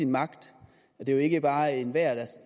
magt det er jo ikke bare enhver der